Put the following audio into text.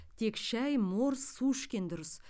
тек шай морс су ішкен дұрыс